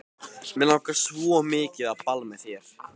Mig langar svo mikið á ball með þér.